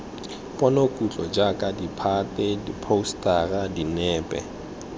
ponokutlo jaaka ditphate diphousetara dinepe